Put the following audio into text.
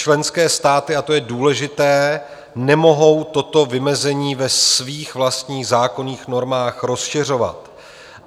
Členské státy, a to je důležité, nemohou toto vymezení ve svých vlastních zákonných normách rozšiřovat.